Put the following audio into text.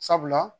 Sabula